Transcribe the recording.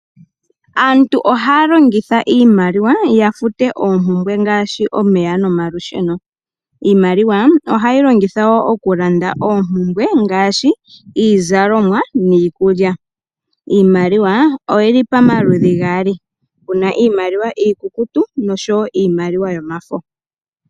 Aantu ohaya longitha iimaliwa ya future oompumbwe ngaashi omeya nmaolusheno. Iimaliwa oha ye yi longitha oku funta oompumbwe ngaashi iizallomwa nenge iikulya. Iimaliwa oyi li pamaludhi gaali, puna iimaliwa iikuku noshowo iimaliwa yomafo.